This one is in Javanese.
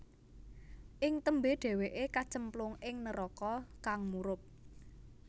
Ing tembé dhèwèké kacemplung ing neraka kang murub